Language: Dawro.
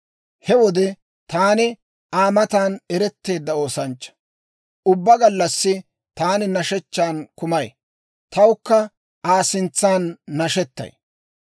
He wode taani Aa matan eretteedda oosanchcha; ubbaa gallassi taani nashechchan kumay; tawukka Aa sintsan nashettay.